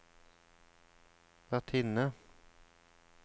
vertinne